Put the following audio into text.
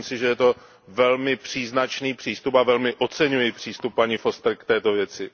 Myslím si, že je to velmi příznačný přístup a velmi oceňuji přístup paní Fosterové k této věci.